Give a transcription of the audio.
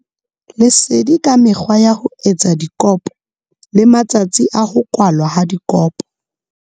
Lesedi ka mekgwa ya ho etsa dikopo le matsatsi a ho kwalwa ha dikopo.